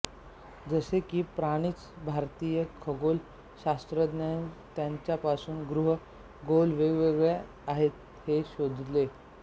जसे की प्राचीन भारतीय खगोल शास्त्रज्ञांनी ताऱ्यांपासून ग्रह गोल वेगळे आहेत हे शोधले